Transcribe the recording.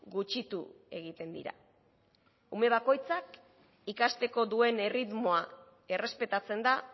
gutxitu egiten dira ume bakoitzak ikasteko duen erritmoa errespetatzen da